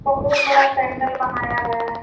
बहुत बड़ा पैण्डल बनाया गया है।